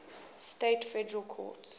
states federal courts